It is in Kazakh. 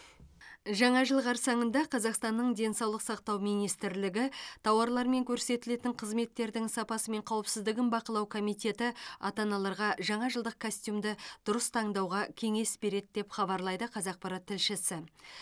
жаңа жыл қарсаңында қазақстанның денсаулық сақтау министрлігі тауарлар мен көрсетілетін қызметтердің сапасы мен қауіпсіздігін бақылау комитеті ата аналарға жаңажылдық костюмді дұрыс таңдауға кеңес береді деп хабарлайды қазақпарат тілшісі